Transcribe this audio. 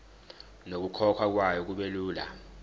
nokukhokhwa kwayo kubelula